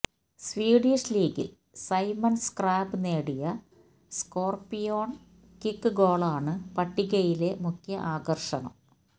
Swedish ലീഗിൽ Simon Skrabb നേടിയ scorpion kick ഗോളാണു പട്ടികയിലെ മുഖ്യ ആകർഷണം